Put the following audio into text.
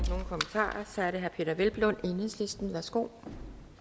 tak for er det herre peder hvelplund enhedslisten værsgo